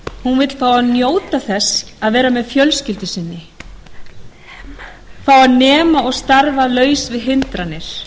því fá að njóta þess að vera með fjölskyldu sinni fá að nema og starfa laus við hindranir